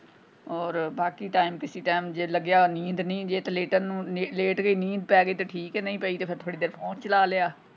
ਹੋਰ ਬਾਕੀ time ਕਿਸੀ time ਜੇ ਲੱਗਿਆ ਨੀਂਦ ਨਹੀਂ ਜੇ ਤੇ ਲੇਟਣ ਨੂੰ ਲੇਟ ਗਏ ਨੀਂਦ ਪੈ ਗਈ ਤੇ ਠੀਕ ਏ ਨਹੀਂ ਪਈ ਤੇ ਥੋੜੀ ਦੇਰ phone ਚਲਾ ਲਿਆ।